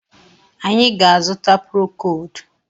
Anyị ga-azuta prokold.